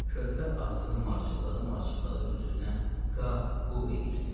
Körpə ağzını marçıldada-marçıldada öz-özünə qaa, quu edirdi.